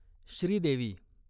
Sridevi